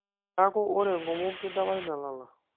neeku ore enkomom kidapash nelala